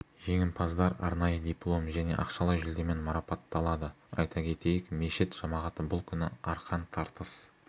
жеңімпаздар арнайы диплом және ақшалай жүлдемен марапатталады айта кетейік мешіт жамағаты бұл күні арқан тартыс